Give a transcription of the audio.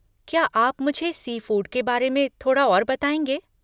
क्या आप मुझे सी फ़ूड के बारे में थोड़ा और बताएँगे?